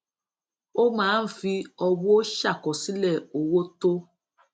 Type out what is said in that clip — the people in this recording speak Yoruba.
ó máa ń fi ọwó ṣàkọsílè owó tó